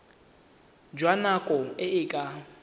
jwa nako e e ka